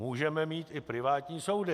Můžeme mít i privátní soudy.